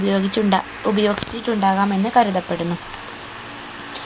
ഉപയോഗിച്ചുണ്ടാ ഉപയോഗിച്ചിട്ടുണ്ടാകാമെന്ന് കരുതപ്പെടുന്നു